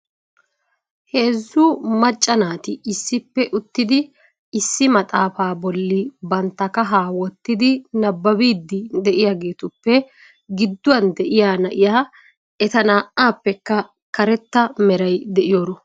Heezzu macca naati issippe uttidi issi maxaafa bolli bantta kahaa wottidi nabbabiidi de'iyaageetuppe gidduwan de'iyaa na'iya eta naa"appekka karetta meray de'iyooro.